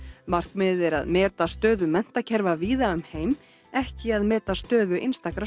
markmiðið er að meta stöðu menntakerfa víða um heim ekki að meta stöðu einstakra